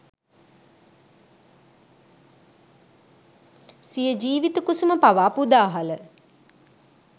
සිය ජිවිත කුසුම පවා පුදාහළ